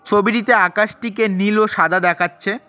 ছবিটিতে আকাশটিকে নীল ও সাদা দেখাচ্ছে।